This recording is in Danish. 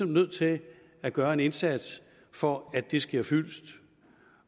nødt til at gøre en indsats for at det sker fyldest